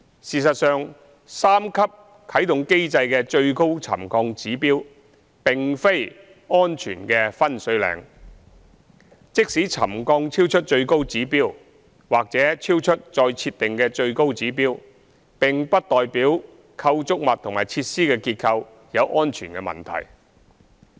事實上，三級啟動監察機制的最高沉降指標並非安全的分水嶺，即使沉降超出最高指標或超出再設定的最高指標，並不代表構築物及設施的結構有安全問題。